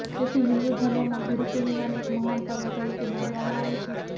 તેથી હિંદુ ધર્મમાં ગુરુપૂર્ણિમાને એક મહાન પર્વ તરીકે માનવામાં આવે છે